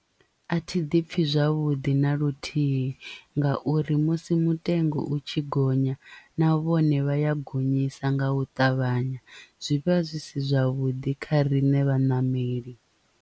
A thi ḓi pfi zwavhuḓi na luthihi ngauri musi mutengo u tshi gonya na vhone vha ya gonyisa nga u ṱavhanya zwivha zwi si zwavhuḓi kha riṋe vhaṋameli.